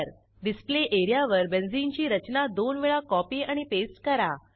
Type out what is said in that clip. display area वर बेंझिनची रचना दोन वेळा कॉपी आणि पेस्ट करा